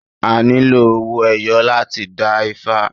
A nílò owó ẹyọ láti dá ifá